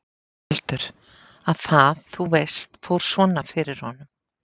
Baldur. að það, þú veist, fór svona fyrir honum.